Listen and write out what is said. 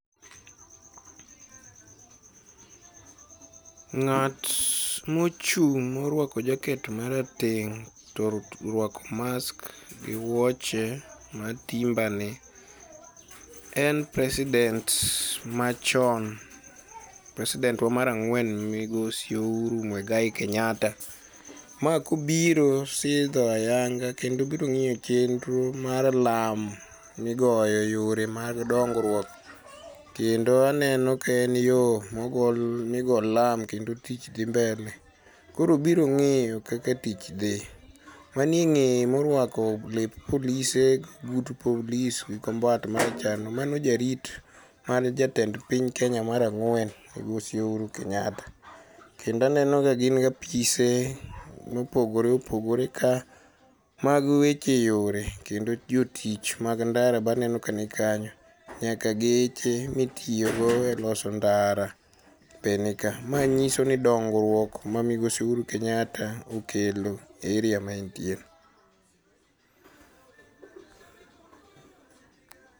Ng'at mochung' moruako jaket marateng' to oruako mask gi wuoche ma timber ni en president machon, president wa mar ang'wen migosi Ouru Muigai Kenyatta'. Ma kobiro sidho ayanga kendo obiro ng'iyo chenro mar lam migoyo yore mag dongruok kendo aneno ka en yo migo lam kendo tich dhi mbele koro obiro ng'iyo kaka tich dhi. Manie ng'eye moruako lep polise but polis gi kombat maracharno mano jarit mar jatend piny Kenya mar ang'wen migosi Ouru Kenyatta. Kendo aneno ka gin gi apise mopogore opogore ka, mag weche yore kendo jotich mag ndara baneno kanikanyo, nyaka geche mitiyogo e loso ndara be ni ka. Ma nyiso ni dongruok ma migosi Uhuru Kenyatta okelo e area ma entie.